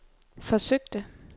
forsøgte